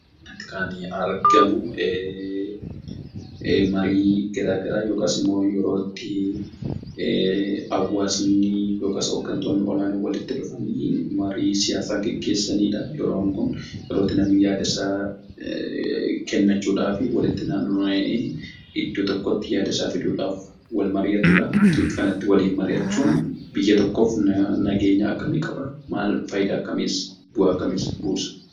Akka asirraatii argamu marii garaagaraa yookiis immoo yeroo hawaasni yookiin hooggantoonni walitti dhufuun marii siyaasaa gaggeessanidha. Yeroon kun yerootti namni yaadasaa kennachuudhaaf walitti naanna'ee iddoo tokkotti yaadasaa fiduudhaaf wal mari'atudha. Waliin mari'achuun biyya tokkoof fayidaa akkamiis, bu'aa akkamiis buusa?